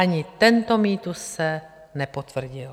Ani tento mýtus se nepotvrdil.